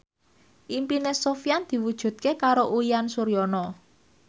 impine Sofyan diwujudke karo Uyan Suryana